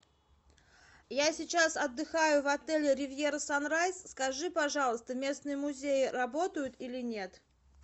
я сейчас отдыхаю в отеле ривьера санрайз скажи пожалуйста местные музеи работают или нет